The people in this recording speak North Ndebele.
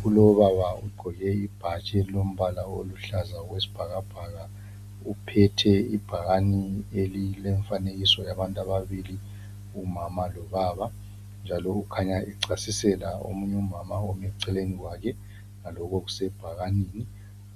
Kulobaba ugqoke ibhatshi elilombala oluhlaza okwesibhakabhaka. Uphethe ibhakane elilemfanekiso yabantu ababili, umama lobaba, njalo ukhanya echasisela omunye umama ome eceleni kwake ngaloku okusebhakanini.